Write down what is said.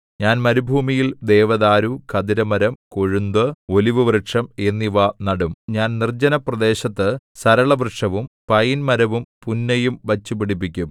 ഞാൻ മരുഭൂമിയിൽ ദേവദാരു ഖദിരമരം കൊഴുന്തു ഒലിവുവൃക്ഷം എന്നിവ നടും ഞാൻ നിർജ്ജനപ്രദേശത്തു സരളവൃക്ഷവും പയിൻമരവും പുന്നയും വച്ചുപിടിപ്പിക്കും